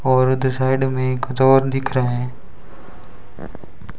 और साइड में कुछ और दिख रहे हैं।